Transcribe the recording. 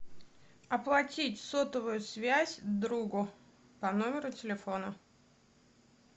оплатить сотовую связь другу по номеру телефона